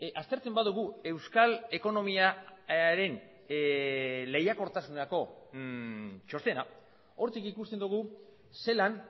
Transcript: aztertzen badugu euskal ekonomiaren lehiakortasunerako txostena hortik ikusten dugu zelan